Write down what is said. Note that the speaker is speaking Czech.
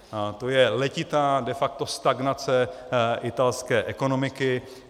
To je letitá de facto stagnace italské ekonomiky.